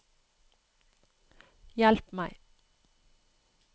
hjelp meg